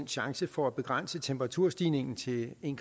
chance for at begrænse temperaturstigningen til en